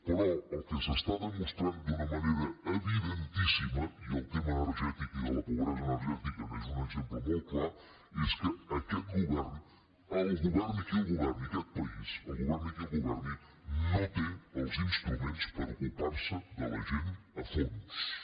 però el que s’està demostrant d’una manera evidentíssima i el tema energètic i de la pobresa energètica n’és un exemple molt clar és que aquest govern el governi qui el governi aquest país el governi qui el governi no té els instruments per ocuparse de la gent a fons no els té